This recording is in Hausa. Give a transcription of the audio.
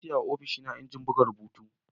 Na sayawa ofishina injin buga rubutu.